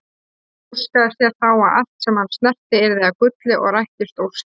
Hann óskaði sér þá að allt sem hann snerti yrði að gulli og rættist óskin.